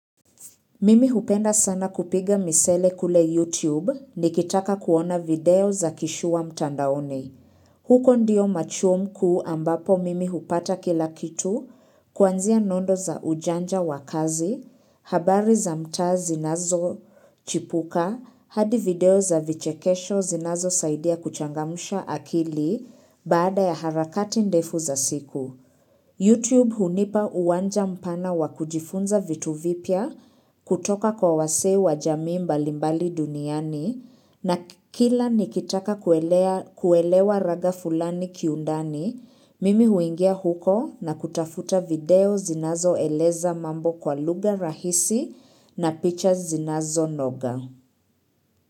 Mimi hupenda sana kupiga misele kule YouTube ni kitaka kuona video za kishua mtandaoni. Huko ndiyo machuom kuu ambapo mimi hupata kila kitu, kuanzia mwendo za ujanja wa kazi, habari za mtaa zinazochipuka, hadi video za vichekesho zinazo saidia kuchangamusha akili baada ya harakati ndefu za siku. YouTube hunipa uwanja mpana wakujifunza vitu vipya kutoka kwa wase wa jamii mbalimbali duniani na kila nikitaka kuelewa rada fulani kiundani, mimi huingia huko na kutafuta video zinazo eleza mambo kwa lugha rahisi na pictures zinazo noga.